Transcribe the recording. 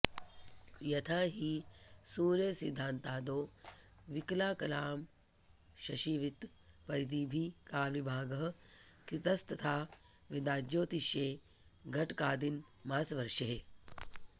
यथा हि सूर्यसिद्धान्तादौ विकलाकलांऽशाशिवृत्तपरिधिभिः कालविभागः कृतस्तथा वेदाज्योतिषे घटिकादिनमासवर्षेः